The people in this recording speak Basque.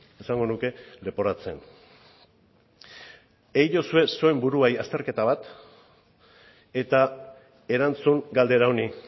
esango nuke leporatzen egiozue zuen buruari azterketa bat eta erantzun galdera honi